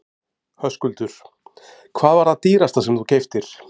Höskuldur: Hvað var það dýrasta sem þú keyptir?